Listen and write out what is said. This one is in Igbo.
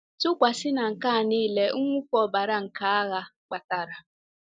Tụkwasị na nke a nile mwụfu ọbara nke agha kpatara.